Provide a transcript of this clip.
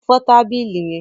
Fọ tábìlì yẹn.